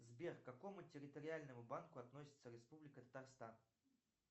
сбер к какому территориальному банку относится республика татарстан